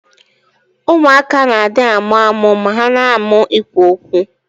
Ụmụaka na adi amụamụ ma ha na amu ikwụ okwu.